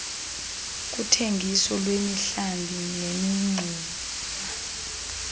kuthengiso lwemihlambi nemingxuma